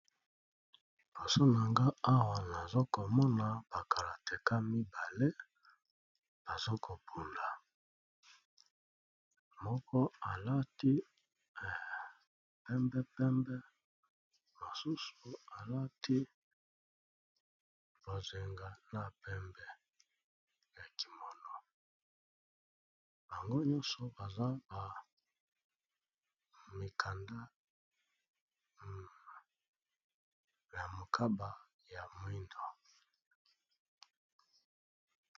Bosonanga awa nazokomona bakalateka mibale bazokobuna moko alati pembepembe mosusu alati bozenga na pembe ya kimono bango nyonso baza ba mikanda ya mokaba ya moindo.